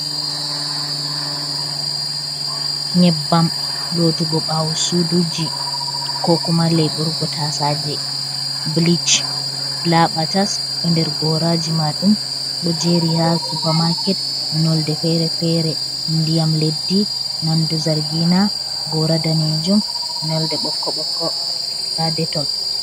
Nyebbam lotugo bawo suduji, kokuma laiɓurgo tasaje blich, labatas ɗo nder goraji majum. Ɗo jeri ha supamaket nonde-fere-fere, ndiyam leddi, nonde zargina, gora danejum nonde bokko boko nda detol. .